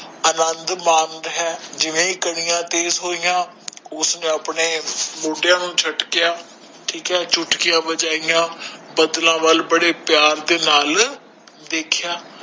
ਆਨੰਦ ਮਨ ਰਿਹਾ ਆ ਜਿਵੇਂ ਏ ਕਣੀਆਂ ਤੇਜ ਹੋਇਆ ਓਹਨੇ ਆਪਣੇ ਮੋੜਿਆ ਨੂੰ ਚੁਟਕੀਆਂ ਠੀਕ ਏ ਚੁਟਕੀਆਂ ਵਜਾਇਆ ਬਾਦਲ ਵਾਲ ਬਾਰੇ ਹੀ ਪੀਰ ਨਾਲ ਦੇਖ ਲਿਆ